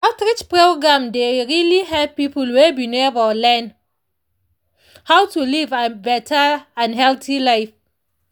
treach program dey really help people wey be neighbor learn how to live an better and healthy life.